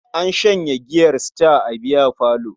An shanye giyar Star a biyafalon.